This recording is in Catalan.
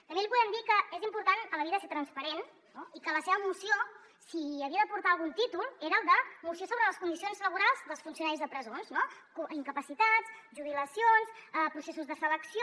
també li podem dir que és important a la vida ser transparent i que la seva moció si havia de portar algun títol era el de moció sobre les condicions laborals dels funcionaris de presons no incapacitats jubilacions processos de selecció